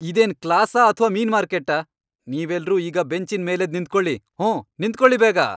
ಇದೇನ್ ಕ್ಲಾಸಾ ಅಥ್ವಾ ಮೀನ್ ಮಾರ್ಕೆಟ್ಟಾ? ನೀವೆಲ್ರೂ ಈಗ ಬೆಂಚಿನ್ ಮೇಲೆದ್ದ್ ನಿಂತ್ಕೊಳಿ, ಹೂಂ! ನಿಂತ್ಕೊಳಿ ಬೇಗ!